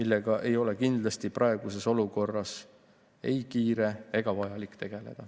See ei ole kindlasti praeguses olukorras ei kiire ega vajalik.